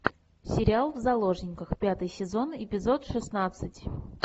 сериал в заложниках пятый сезон эпизод шестнадцать